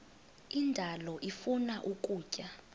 indalo ifuna ukutya